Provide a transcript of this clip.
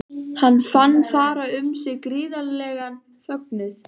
Hann fann fara um sig gríðarlegan fögnuð.